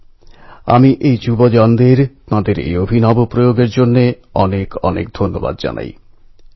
যিনি নিজের জীবন সমর্পণ করেছিলেন যাতে করে দেশবাসী স্বাধীন ভারতে শ্বাস নিতে পারে